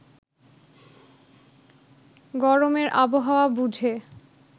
গরমের আবহাওয়া বুঝে